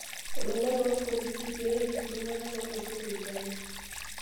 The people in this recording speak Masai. Olula loo lpolisi pee errip ltung'ana lo losho le Uganda